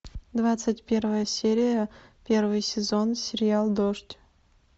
двадцать первая серия первый сезон сериал дождь